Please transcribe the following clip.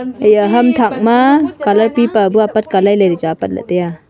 ema ham tak ma colour paper bu chu apat ka lai lai ley chu tai a.